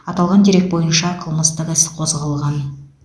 аталған дерек бойынша қылмыстық іс қозғалған